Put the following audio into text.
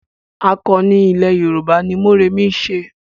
Àkọni ilẹ̀ Yorùbá ni Mórèmí ń ṣe.